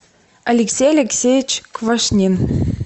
алексей алексеевич квашнин